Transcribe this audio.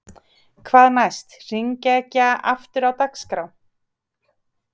Hvað næst: Hringekjan aftur á dagskrá?